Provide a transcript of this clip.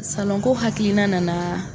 Salonko hakiliina nana.